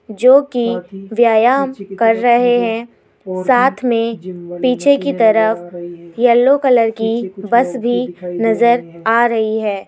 जो कि व्यायाम कर रहे हैं साथ में पीछे की तरफ येलो कलर की बस भी नजर आ रही है।